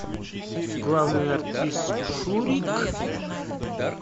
главный артист шурик